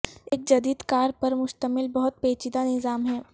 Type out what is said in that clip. ایک جدید کار پر مشتمل بہت پیچیدہ نظام ہے